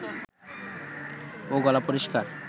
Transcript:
ও গলা পরিষ্কার